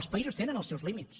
els països tenen els seus límits